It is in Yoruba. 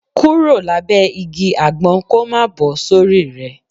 Kúrò lábẹ́ igi àgbọn kó má bọ́ sórí rẹ